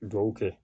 Dugawu kɛ